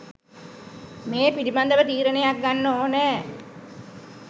මේ පිළිබඳව තීරණයක් ගන්න ඕනෑ